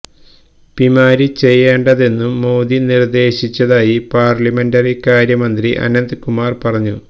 പിമാര് ചെയ്യേണ്ടതെന്നും മോദി നിര്ദേശിച്ചതായി പാര്ലമെന്ററി കാര്യ മന്ത്രി അനന്ത് കുമാര് പറഞ്ഞു